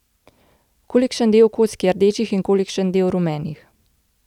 Kolikšen del kock je rdečih in kolikšen del rumenih?